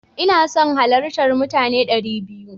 Ina son halartar mutane dari biyu.